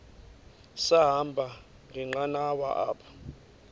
sahamba ngenqanawa apha